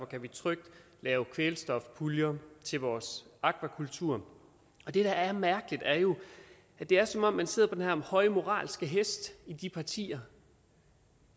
kan vi trygt lave kvælstofpuljer til vores akvakultur det der er mærkeligt er jo at det er som om man sidder på den her høje moralske hest i de partier